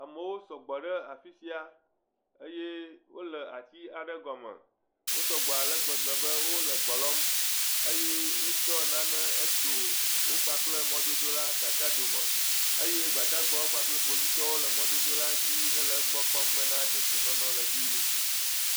Amewo sɔgbɔ ɖe afi sia eye wole ati aɖe gɔme Wo sɔgbɔ ale gbegbe be wole gbe lɔm. eye wotsɔ nane hetso wo kpakple mɔdodola katã dome. Eye Ggbadagbawo kpakple Kpovitɔwo le mɔdodo la dzi hele egbɔ kpɔm ben dedienɔnɔ le edzi yim.